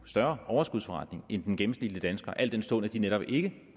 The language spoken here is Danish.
større overskudsforretning end den gennemsnitlige dansker al den stund at de netop ikke